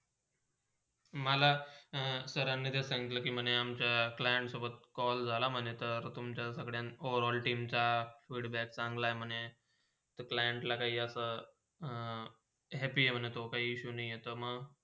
मला हम्म सरांनी ते सांगितले के मना अमच्या client सोबत झाला call झाला म्हणेतर तुमच्या सगल्या overall टीमचा feedback चांगला आहे म्हणे क्लाईंटला असा happy हाय तो काही issue नाय आहे ते म.